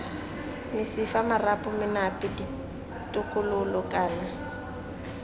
mesifa marapo menape ditokololo kana